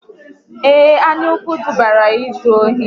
Ee, anyaukwu dubara ya n'izu ohi